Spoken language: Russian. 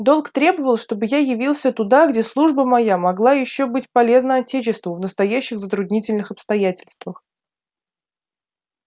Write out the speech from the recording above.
долг требовал чтобы я явился туда где служба моя могла ещё быть полезна отечеству в настоящих затруднительных обстоятельствах